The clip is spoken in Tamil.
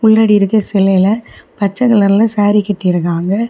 பின்னாடி இருக்க சிலைல பச்சை கலர்ல சாரி கட்டி இருக்காங்க.